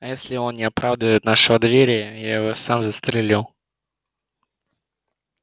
а если он не оправдает нашего доверия я его сам застрелю